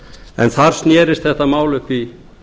en þar snerist þetta mál upp í